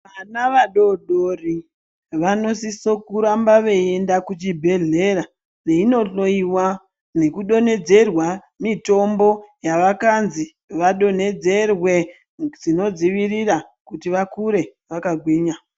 Vana vadodori vanosisa kuramba veienda kuchibhedhlera veindohloiwa nekudonhedzerwa Mitombo yavakanzi vadonhedzerwe zvinodzivirire kuti vakure vakagwinya.